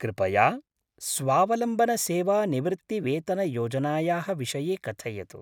कृपया स्वावलम्बनसेवानिवृत्तिवेतनयोजनायाः विषये कथयतु।